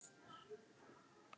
Lóa: Sem var?